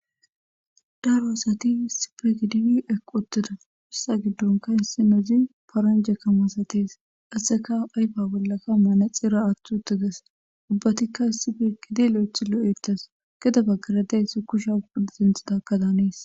Daro asati issippe gididi eqqi uttida hessape gidonka issinozi paranjeka masates qaseka ayfiya bollaka manaxira aathi utthides ubbatika issipe eqqidi loythi lo'etes gede baggar dizayssi kushiya cucuntidaka danees.